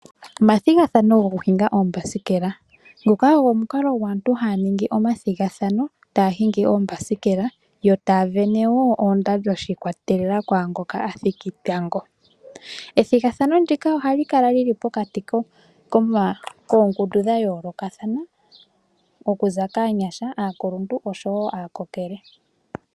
Omathigathano goku hinga oombasikela. Nguka ogo omukalo gwaantu haya ningi omathigathano taya hingi oombasikela. Yo taya sindana woo oondando shikwatelela kwaangoka athiki tango. Ethigathano ndika ohali kala lili pokati koongundu dha yoolokathana. Okuza kaagundjuka, aakuluntu osho woo aakokele.